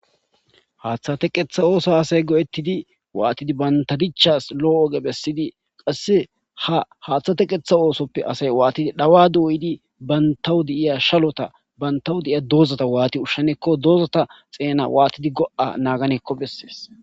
haaththa teqetha oosa asay go7ettidi waatidi banta dichas lo7o oge bessidi qasse ha haaththa teqetha oosoppe asay waatidi dhawa duuyidi bantawu di iya shalota bantawu diiya doozata waati ushshenekko doozata xeena waatidi go7a naaganekko bessees